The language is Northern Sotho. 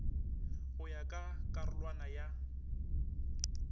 go ya ka karolwana ya